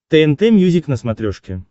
тнт мьюзик на смотрешке